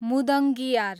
मुदङ्गियार